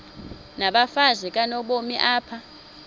nabafazi kanobomi apha